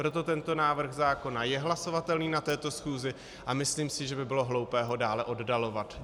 Proto tento návrh zákona je hlasovatelný na této schůzi a myslím si, že by bylo hloupé ho dále oddalovat.